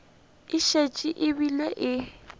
e šetše e bile e